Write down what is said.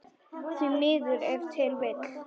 Því miður ef til vill?